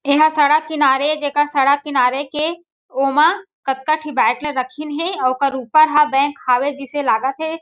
एहा सड़क किनारे जेकर सड़क किनारे के ओमा कतका ठी रखिन हे अउ ओकर ऊपर ह बैंक हावे जिसे लागत हे।